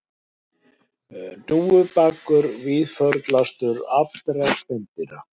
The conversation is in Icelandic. Hnúfubakur víðförlastur allra spendýra